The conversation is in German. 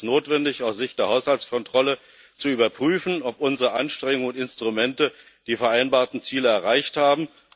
Darum ist es notwendig, aus Sicht der Haushaltskontrolle zu überprüfen, ob unsere Anstrengungen und Instrumente die vereinbarten Ziele erreicht haben.